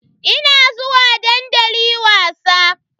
Ina zuwa dandali wasa.